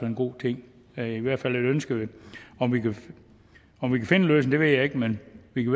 en god ting det er i hvert fald et ønske om vi kan finde en løsning ved jeg ikke men vi kan